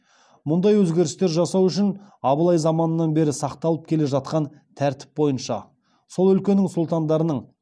мұндай өзгерістер жасау үшін абылай заманынан бері сақталып келе жатқан тәртіп бойынша сол өлкенің сұлтандарының